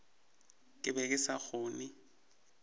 ke be ke sa kgone